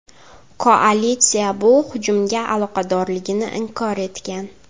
Koalitsiya bu hujumga aloqadorligini inkor etgan.